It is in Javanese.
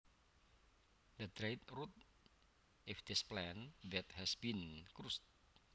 The dried root of this plant that has been crushed